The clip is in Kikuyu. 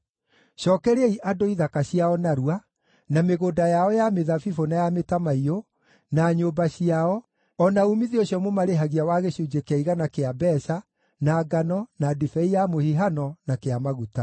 Cookeriai andũ ithaka ciao narua, na mĩgũnda yao ya mĩthabibũ na ya mĩtamaiyũ, na nyũmba ciao, o na uumithio ũcio mũmarĩhagia wa gĩcunjĩ kĩa igana kĩa mbeeca, na ngano, na ndibei ya mũhihano, na kĩa maguta.”